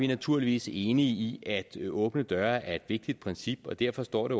naturligvis enige i at åbne døre er et vigtigt princip og derfor står det